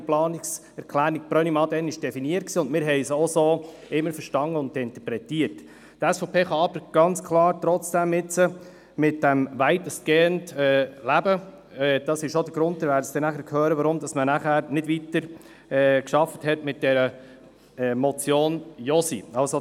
Wie Sie nachher hören werden, ist das auch der Grund, weshalb man nachher nicht weiter gearbeitet hat mit der Motion Josi .